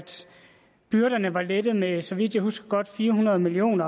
byrderne var lettet med så vidt jeg husker godt fire hundrede million